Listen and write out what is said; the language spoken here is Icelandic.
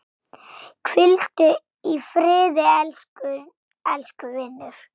Hvíldu í friði, elsku vinur.